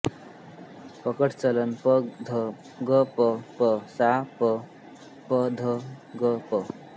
पकड़ चलन प ध ग प प सां प प ध ग प